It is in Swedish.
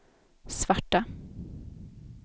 svarta